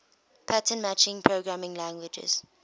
pattern matching programming languages